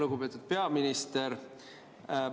Lugupeetud peaminister!